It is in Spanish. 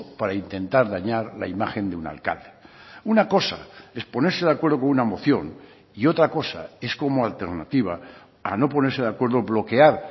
para intentar dañar la imagen de un alcalde una cosa es ponerse de acuerdo con una moción y otra cosa es como alternativa a no ponerse de acuerdo bloquear